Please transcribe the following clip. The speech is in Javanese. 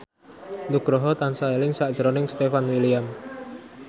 Nugroho tansah eling sakjroning Stefan William